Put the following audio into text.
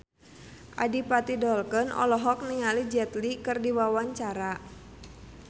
Adipati Dolken olohok ningali Jet Li keur diwawancara